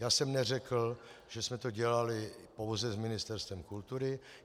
Já jsem neřekl, že jsme to dělali pouze s Ministerstvem kultury.